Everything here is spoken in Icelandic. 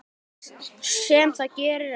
Sem það gerir ekki.